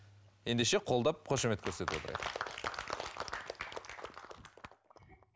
ендеше қолдап қошемет көрсетіп отырайық